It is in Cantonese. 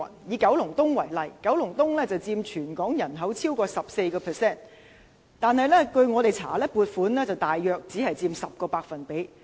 以九龍東為例，九龍東人口佔全港人口超過 14%， 但據我們調查，九龍東聯網所獲的撥款只佔大約 10%。